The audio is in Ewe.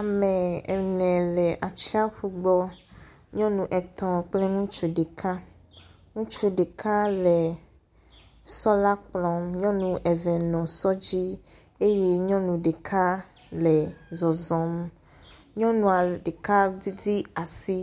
Amee ene le atsiafu gbɔ, nyɔnu etɔ̃ kple ŋutsu ɖeka. Ŋutsu ɖeka la le sɔ la kplɔm, nyɔnu eve le sɔ dzi eye nyɔnu ɖeka le zɔzɔm, nyɔnua ɖeka didi asi